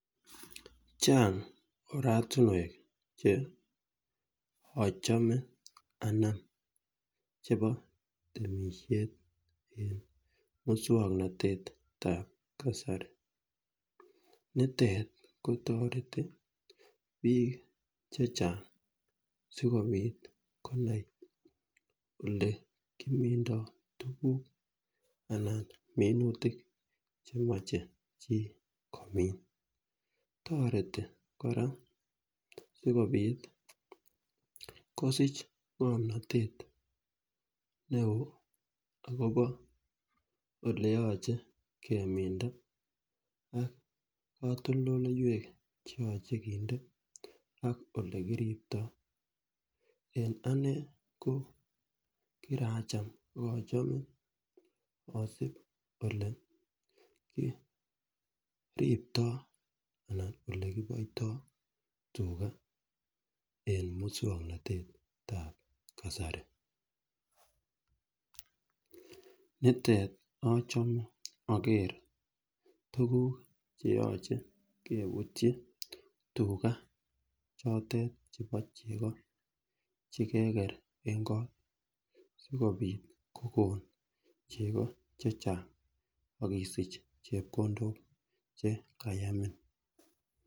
Chang oratunwek che ochome anan chebo temishet en muswoknotetab kasari nitet kotoreti bik chechang sikopit konai ole kimindo tukuk anan minutik chemoche chii komin. Toreti koraa sikopit kosich ngomnotet neo akobo oleyoche keminda ak kotoldoloiwek cheyoche keminda ak olekiripti. En anee ko kiracham ak ochome osib ole kiriptoo anan olekiboito tugaaen muswoknotetab kasari, nitet ochome okere tukuk cheyoche keputyi tugaa chotet chebo chegoo chekekeen en koo sikopit kokon chego chechang ak isich chepkondok chekayamin.